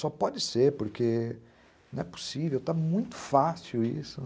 Só pode ser porque não é possível, está muito fácil isso.